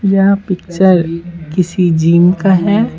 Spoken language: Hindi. यह पिक्चर किसी जीम का है।